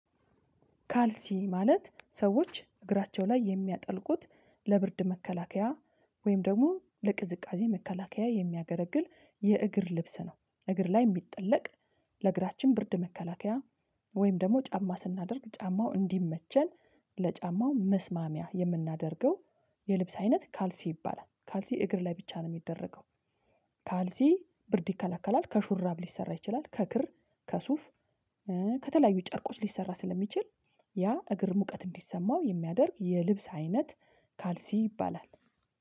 ካልሲ ማለት ሰዎች እግራቸው ላይ የሚያጠልቁት ለብርድ መከላከያ ወይም ደግሞ ለቅዝቃዜ መከላከያ የሚያገለግል የእግር ልብስ ነው። እግር ላይ የሚጠለቅ ለእግራችን ብርድ መከላከያ ወይም ደግሞ ጫማ ስናደርግ ጫማው እንዲመቸን ለጫማው መስማሚያ የምናደርገው የልብስ አይነት ካልሲ ይባላል። ካልሲ እግር ላይ ብቻ ነው የሚደረገው ካልሲ ብርድ ይከላከላል ከሹራብ ሊሰራ ይችላል ከክር ከሱፍ ከተለያዩ ጨርቆች ሊሰራ ስለሚችል ያ እግር ሙቀት እንዲሰማው የሚያደርግ የልብስ አይነት ካልሲ ይባላል